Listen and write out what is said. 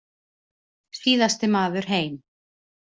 Síðasti maður heim.